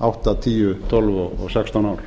átta tíu tólf og sextán